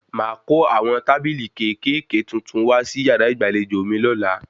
Máa kó àwọn tábìlì kéékèèké tuntun wá sí yàrá ìgbàlejò mi lọ́la